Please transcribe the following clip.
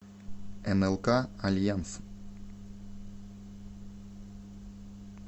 нлк альянс